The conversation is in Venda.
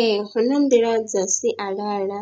Ee, hu na nḓila dza sialala